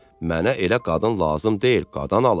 Mənə elə qadın lazım deyil, qadan alım.